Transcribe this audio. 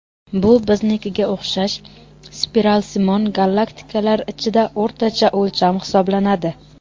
Bu biznikiga o‘xshash spiralsimon galaktikalar ichida o‘rtacha o‘lcham hisoblanadi.